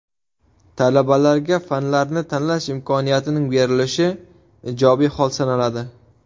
Talabalarga fanlarni tanlash imkoniyatining berilishi ijobiy hol sanaladi.